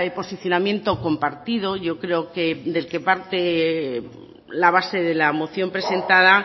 posicionamiento compartido yo creo que del que parte la base de la moción presentada